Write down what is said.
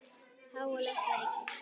Háaloft var ríki